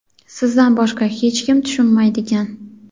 sizdan boshqa hech kim tushunmaydigan.